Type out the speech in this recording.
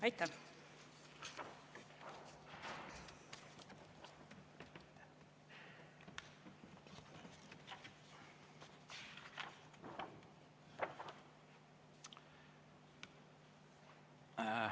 Aitäh!